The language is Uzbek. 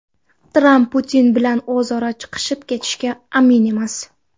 Tramp Putin bilan o‘zaro chiqishib ketishiga amin emas.